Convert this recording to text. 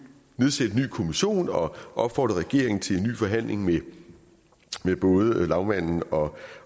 nedsætte en ny kommission og opfordre regeringen til en ny forhandling med både lagmanden og